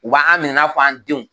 U b'an minɛ i n'a fɔ an denw.